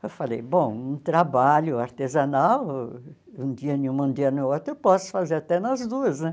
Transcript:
Eu falei, bom, um trabalho artesanal, um dia em um, um dia no outro, eu posso fazer até nas duas, né?